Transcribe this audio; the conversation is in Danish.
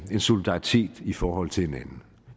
en solidaritet i forhold til hinanden